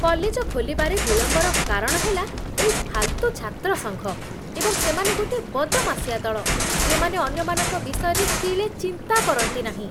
College ଖୋଲିବାରେ ବିଳମ୍ବର କାରଣ ହେଲା ଏଇ ଫାଲ୍ତୁ ଛାତ୍ର ସଂଘ, ଏବଂ ସେମାନେ ଗୋଟିଏ ବଦମାସିଆ ଦଳ, ଯେଉଁମାନେ ଅନ୍ୟମାନଙ୍କ ବିଷୟରେ ତିଳେ ଚିନ୍ତା କରନ୍ତିନାହିଁ।